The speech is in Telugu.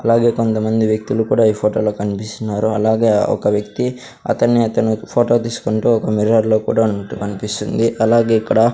అలాగే కొంతమంది వ్యక్తులు కుడా ఈ ఫొటో లో కన్పిస్తున్నారు అలాగే ఒక వ్యక్తి అతన్నీ అతను ఫోటో తీసుకుంటూ ఒక మిర్రర్ లో కూడా ఉన్నట్టు కన్పిస్తుంది అలాగే ఇక్కడ --